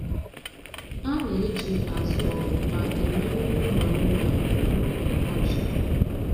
A na-eji azụ ọpụpa e me nri ụmụ anụmanụ na oge ọkọchi